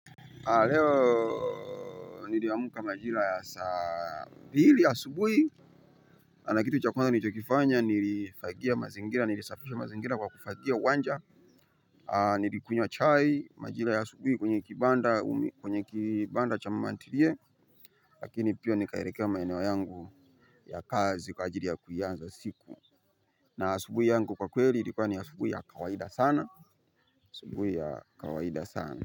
Leo nilihamuka majira ya saa mbili asubuhi na kitu chakwanza nilichokifanya nilifagia mazingira nilisafisha mazingira kwa kufagia uwanja. Nilikunywa chai majira ya asubuhi kwenye kibanda cha mamantiliye. Lakini pia nikahelekea maeneo yangu ya kazi kwa ajili ya kuianza siku. Na asubuhi yangu kwa kweli ilikuwa ni ya asubuhi ya kawaida sana asuubuhi ya kawaida sana.